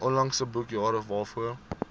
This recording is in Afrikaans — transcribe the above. onlangse boekjare waarvoor